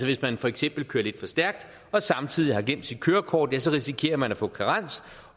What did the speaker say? hvis man for eksempel kører lidt for stærkt og samtidig har glemt sit kørekort risikerer man at få karens